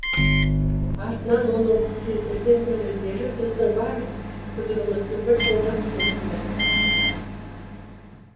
артынан оның келтірген дәлелдері біздің барлық күдігімізді бірден ақ сейілтті